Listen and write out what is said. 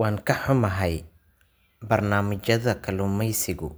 Waan ka xunahay, barnaamijyada kalluumaysigu